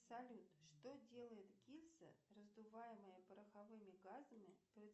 салют что делает гильза раздуваемая пороховыми газами